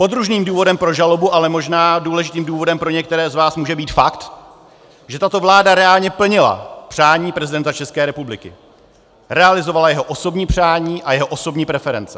Podružným důvodem pro žalobu, ale možná důležitým důvodem pro některé z vás, může být fakt, že tato vláda reálně plnila přání prezidenta České republiky, realizovala jeho osobní přání a jeho osobní preference.